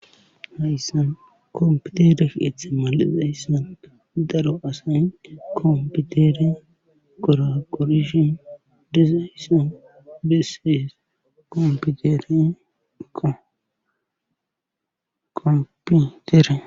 hayssan kompiteref etha mal7idayssan daro asay kompitere koraqorishin disayssan bessees komputerenkakompitere